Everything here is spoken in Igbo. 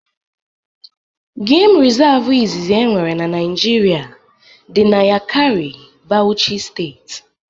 Geem resavu izizi e nwere n'Naijiria dị n'Yakari, Bauchi steeti